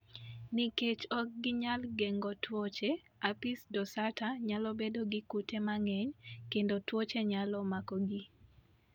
Nikech ok ginyal geng'o tuoche, apis dorsata nyalo bedo gi kute mang'eny kendo tuoche nyalo makogi.